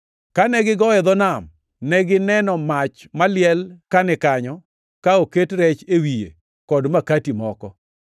Kane gigowo e dho nam, negineno mach maliel ka ni kanyo ka oket rech e wiye, kod makati moko.